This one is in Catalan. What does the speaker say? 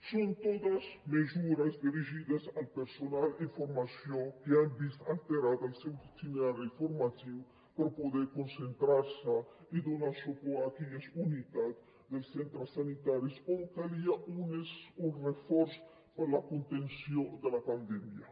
són totes mesures dirigides al personal en formació que han vist alterat el seu itinerari formatiu per poder concentrar se i donar suport a aquelles unitats dels centres sanitaris on calia un reforç per a la contenció de la pandèmia